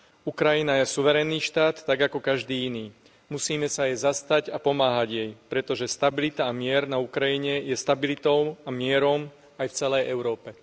Ukrajina je suverénny štát tak ako každý iný. Musíme sa jej zastať a pomáhať jej, pretože stabilita a mier na Ukrajine je stabilitou a mierom aj v celej Európe.